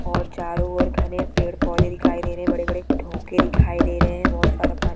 और चारो ओर घने पेड़ पौधे दिखाई दे रहे है बड़े बड़े ढोके दिखाई दे रहे है बहोत सारा पानी--